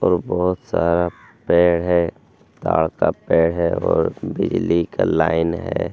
और बहुत सारा पेड़ है पेड़ है और बिजली का लाइन है।